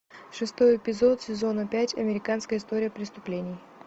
шестой эпизод сезона пять американская история преступлений